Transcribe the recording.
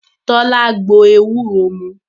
Tọ́lá gbo ewúro mu